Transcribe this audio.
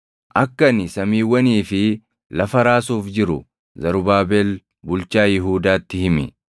“Akka ani samiiwwanii fi lafa raasuuf jiru Zarubaabel bulchaa Yihuudaatti himi.